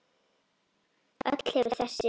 Öll hefur þessi